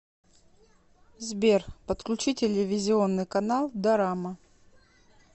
сбер подключи телевизионный канал дорама